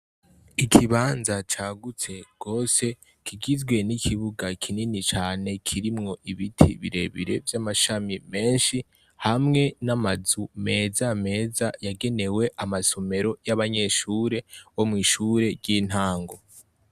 Ikibanza cagutse rwose, kigizwe n'ikibuga kinini cane, kirimwo ibiti birebire vy'amashami menshi, hamwe n'amazu meza meza yagenewe amasomero y'abanyeshure bo mw'ishure ry'intango.